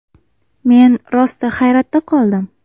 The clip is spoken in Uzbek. Men rosti hayratda qoldim.